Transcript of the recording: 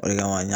O de kama ɲa